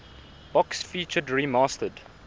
box featured remastered